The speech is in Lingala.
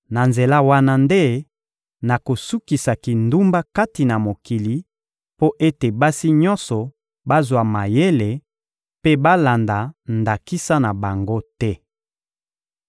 Na nzela wana nde nakosukisa kindumba kati na mokili, mpo ete basi nyonso bazwa mayele mpe balanda ndakisa na bango te.